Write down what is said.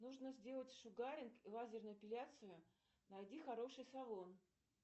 нужно сделать шугаринг и лазерную эпиляцию найди хороший салон